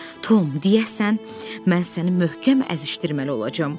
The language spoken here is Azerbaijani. Tom, deyəsən, mən səni möhkəm əzişdirməli olacağam.